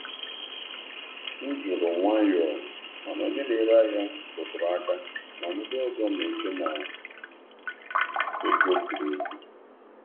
M jụrụ nwayọọ, mana onye um na-ere ahịa rụtụrụ aka na ndị ọzọ na-eche ọzọ na-eche na ego ziri ezi.